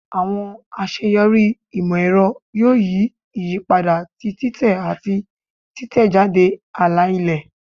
Awọn aṣeyọri imọ-ẹrọ yoo yi iyipada ti titẹ ati titẹjade ala-ilẹ